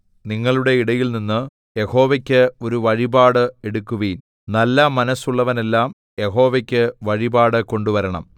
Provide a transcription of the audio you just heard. നിങ്ങളുടെ ഇടയിൽനിന്ന് യഹോവയ്ക്ക് ഒരു വഴിപാട് എടുക്കുവിൻ നല്ല മനസ്സുള്ളവനെല്ലാം യഹോവയ്ക്ക് വഴിപാട് കൊണ്ടുവരണം